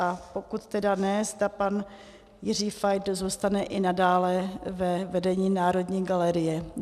A pokud tedy ne, zda pan Jiří Fajt zůstane i nadále ve vedení Národní galerie.